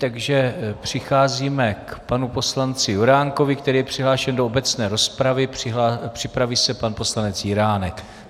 Takže přicházíme k paní poslanci Juránkovi, který je přihlášen do obecné rozpravy, připraví se pan poslanec Jiránek.